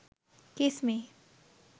kiss me